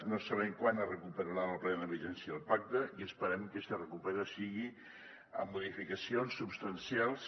no sabem quan es recuperarà la plena vigència del pacte i esperem que si es recupera sigui amb modificacions substancials